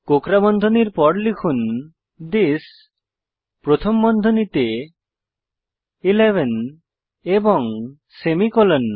কোঁকড়া বন্ধনীর পর লিখুন থিস প্রথম বন্ধনীতে 11 এবং সেমিকোলন